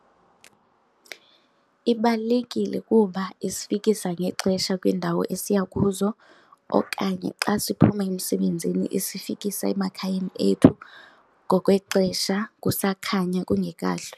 Ibalulekile kuba isifikisa ngexesha kwiindawo esiya kuzo okanye xa siphuma emsebenzini isifikisa emakhayeni ethu ngokwexesha kusakhanya, kungekahlwi.